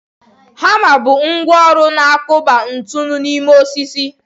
Hama bụ ngwá ọrụ na-akụpa ntu n'ime osisi.